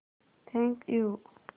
thank you